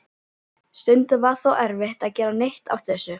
Stundum var þó erfitt að gera neitt af þessu.